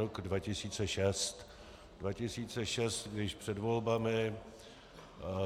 Rok 2006, když před volbami